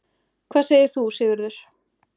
Hvað segir þú, Sigurður?